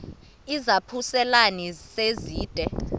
izaphuselana se zide